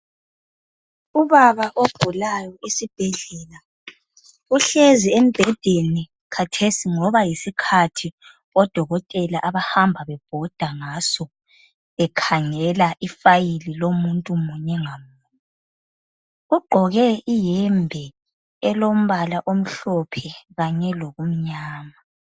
Ubaba ogulayo esibhedlela uhlezi embhedeni khathesi ngoba yisikhathi odokotela abahamba bebhoda ngaso bekhangela ifayili lomuntu munye ngamunye. Ugqoke iyembe elombala omhlophe kanye lokumnyama.